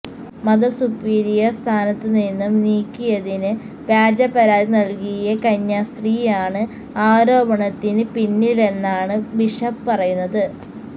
mother superior സ്ഥാനത്ത് നിന്നും നീക്കിയതിന് വ്യാജ പരാതി നൽകിയ കന്യാസ്ത്രീയാണ് ആരോപണത്തിന് പിന്നിലെന്നാണ് ബിഷപ് പറയുന്നത്